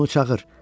Onu çağır.